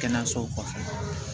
Kɛnɛyasow kɔfɛ